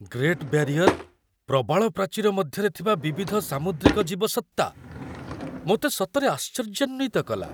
Great barrier' ପ୍ରବାଳ ପ୍ରାଚୀର ମଧ୍ୟରେ ଥିବା ବିବିଧ ସାମୁଦ୍ରିକ ଜୀବସତ୍ତା ମୋତେ ସତରେ ଆଶ୍ଚର୍ଯ୍ୟାନ୍ୱିତ କଲା।